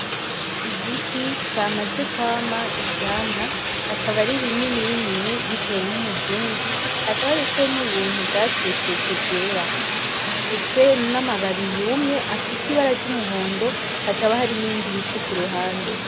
Igiti camaze kwama ivyamwa akaba ari binini binini biteye nk' umuzingi, hakaba hariko n' ubuntu bwasesetse bwera gifutswe n' amababi yumye afise ibara ry' umuhondo hakaba hari n' ibindi biti kuruhande.